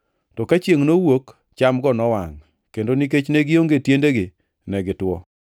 To ka chiengʼ nowuok, chamgo nowangʼ, kendo nikech ne gionge tiendegi, ne gitwo.